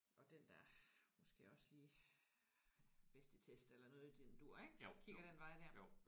Og den der måske også lige er bedst i test eller noget i den dur ik der kigger den vej der